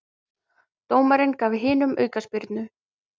Dómarinn gaf hinum aukaspyrnu.